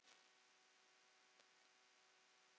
Guðný: Spilar þú sjálfur?